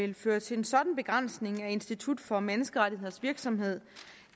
ville føre til en sådan begrænsning af institut for menneskerettigheders virksomhed